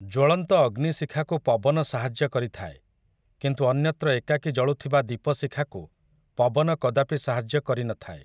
ଜ୍ୱଳନ୍ତ ଅଗ୍ନିଶିଖାକୁ ପବନ ସାହାଯ୍ୟ କରିଥାଏ କିନ୍ତୁ ଅନ୍ୟତ୍ର ଏକାକୀ ଜଳୁଥିବା ଦୀପଶିଖାକୁ ପବନ କଦାପି ସାହାଯ୍ୟ କରିନଥାଏ ।